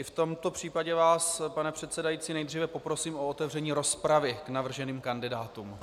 I v tomto případě vás, pane předsedající, nejdříve poprosím o otevření rozpravy k navrženým kandidátům.